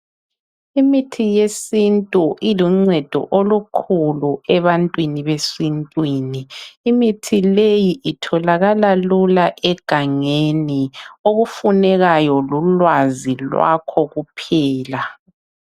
Imithi yesintu iluncedo olukhulu ebantwini besintwini imithi leyi itholakala lula egangeni okufunekayo lulwazi lwakho kuphela